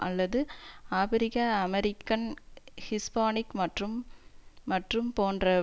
அல்லது ஆபிரிக்க American Hispanic மற்றும் மற்றும் போன்ற